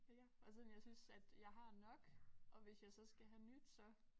Og ja og sådan jeg synes at jeg har nok og hvis jeg så skal have nyt så